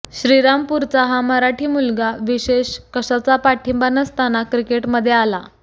श्रीरामपूरचा हा मराठी मुलगा विशेष कशाचा पाठींबा नसताना क्रिकेटमध्ये आला